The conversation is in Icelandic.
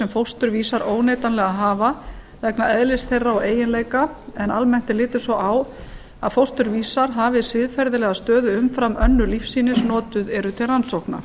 fósturvísar óneitanlega hafa vegna eðlis þeirra og eiginleika en almennt er litið svo á að fósturvísar hafi siðferðilega stöðu umfram önnur lífsýni sem notuð eru til rannsókna